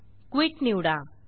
quit निवडा